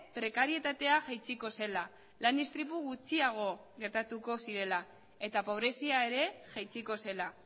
prekarietatea jaitsiko zela lan istripu gutxiago gertatuko zirela eta pobrezia ere jaitsiko zela